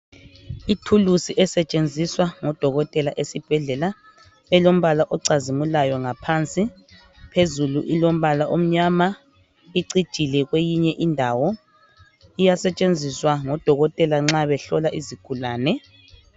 Ithulusi esetshenziswa ngudokotela esibhedlela elombala ocazimulayo ngaphansi phezulu ilombala omnyama icijile kweyinye indawo iyasetshenziswa ngodokotela nxa behlola izigulane.